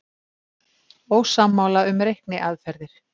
Ósammála um reikniaðferðir